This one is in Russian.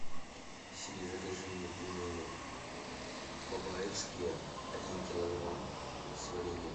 сири закажи мне пельмени бабаевские один килограмм с вареньем